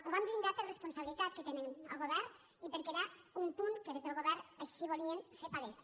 ho vam blindar per la responsabilitat que té el govern i perquè era un punt que des del govern així volien fer palès